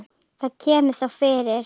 Það kemur þó fyrir.